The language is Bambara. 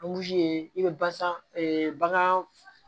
i bɛ basan bagan